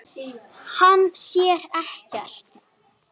Hann sér ekkert.